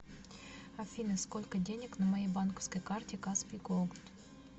афина сколько денег на моей банковской карте каспий голд